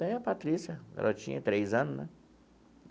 Tem a Patrícia, ela tinha três anos, né?